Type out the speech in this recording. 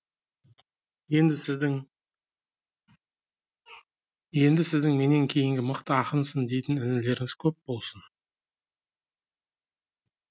енді сіздің енді сіздің менен кейінгі мықты ақынсың дейтін інілеріңіз көп болсын